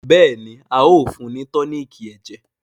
béèni, a o fún ni toniiki ẹjẹ.